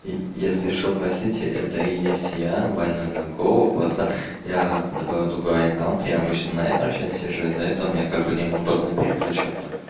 если что простите это и есть я больной на голову просто я добавил другой аккаунт я обычно на этом сейчас сижу из-за этого у меня как бы неудобно переключаться